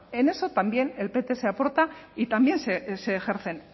en eso también el pts aporta y también se ejercen